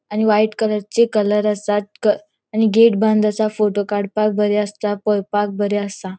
आणि व्हाइट कलरचे कलर असात क आणि गेट बंद असा फोटो काडपाक बरे आसता पोवपाक बरे असा.